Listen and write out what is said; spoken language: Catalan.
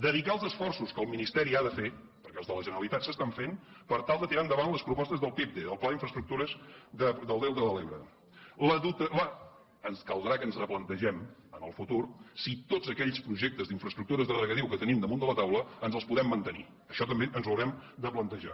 dedicar els esforços que el ministeri ha de fer perquè els de la generalitat s’estan fent per tal de tirar endavant les propostes del pide del pla d’infraestructures del delta de l’ebre ens caldrà que ens replantegem en el futur si tots aquells projectes d’infraestructures de regadiu que tenim damunt de la taula ens els podem mantenir això també ens ho haurem de plantejar